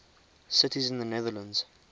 cities in the netherlands